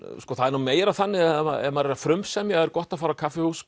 það er nú meira þannig að ef maður er að frumsemja er gott að fara á kaffihús